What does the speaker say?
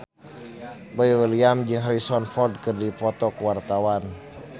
Boy William jeung Harrison Ford keur dipoto ku wartawan